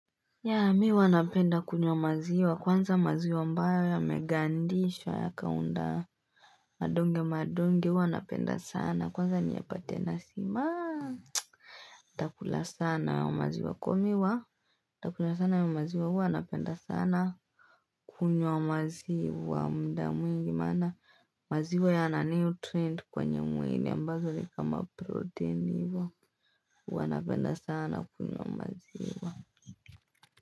Yaa mi huwa napenda kunywa maziwa kwanza maziwa ambayo ya megandishwa ya kaunda madonge madonge huwa napenda sana kwanza niyapatena simaa itakula sana ya maziwa komiwa itakula sana ya maziwa huwa napenda sana kunywa maziwa muda mwingi maana maziwa ya na nutrient kwenye mwili ambazo nikama protein hivyo huwa napenda sana kunywa maziwa.